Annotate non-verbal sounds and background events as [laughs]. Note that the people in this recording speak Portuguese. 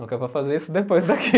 Não que eu vá fazer isso depois daqui. [laughs]